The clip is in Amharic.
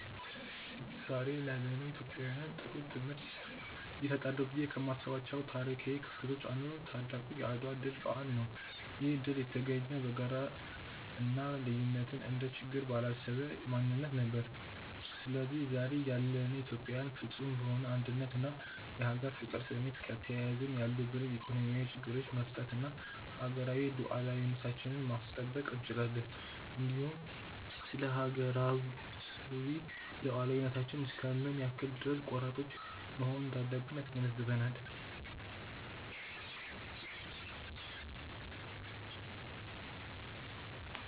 ዛሬ ላለነው ኢትዮጵያውያን ጥሩ ትምህርት ይሰጣሉ ብዬ ከማስባቸው ታሪካው ክስተቶች አንዱ ታላቁ የአድዋ ድል በዓል ነው። ይህ ድል የተገኘው በጋራ እና ልዩነትን እንደ ችግር ባላሰበ ማንነት ነበር። ስለዚህ ዛሬ ያለነው ኢትዮጵያዊያንም ፍፁም በሆነ አንድነት እና የሀገር ፍቅር ስሜት ከተያያዝን ያሉብንን ኢኮኖሚያዊ ችግሮቻች መፍታት እና ሀገራዊ ሉዓላዊነታችንን ማስጠበቅ እንችላለን። እንዲሁም ስለሀገራዊ ሉዓላዊነታችን እስከ ምን ያክል ድረስ ቆራጦች መሆን እንዳለብን ያስገነዝበናል።